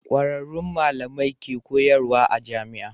Kwararrun malamai ke koyarwa a jamia